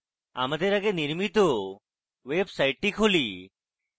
আমাদের আগে নির্মিত ওয়েবসাইটটি খুলি